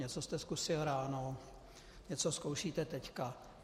Něco jste zkusil ráno, něco zkoušíte teď.